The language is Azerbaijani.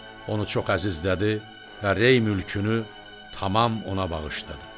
Onu çox əzizlədi və Rey mülkünü tamam ona bağışladı.